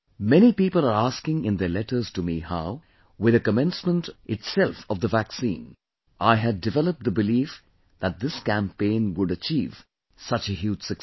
Many people are asking in their letters to me how, with the commencement itself of the vaccine, I had developed the belief that this campaign would achieve such a huge success